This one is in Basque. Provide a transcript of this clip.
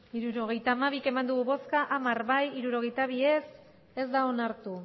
hirurogeita hamabi bai hamar ez hirurogeita bi ez da onartu